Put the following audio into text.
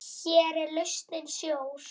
Hér er lausnin sjór.